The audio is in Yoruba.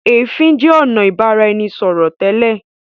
ẹfin jẹ ọnà ibaraẹnisọrọ tẹ́lẹ̀.